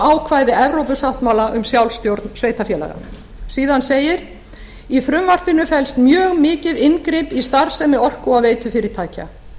ákvæði evrópusáttmála um sjálfstjórn sveitarfélaganna síðan segir í frumvarpinu felst mjög mikið inngrip í starfsemi orku og veitufyrirtækja